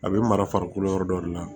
A bɛ mara farikolo yɔrɔ dɔ de la